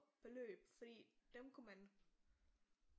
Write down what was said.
Beløb fordi dem kunne man